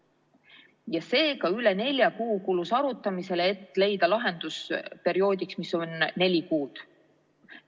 Ja seega üle nelja kuu kulus arutamisele, et leida lahendus perioodiks, mis on neli kuud.